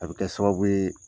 A be kɛ sababu yee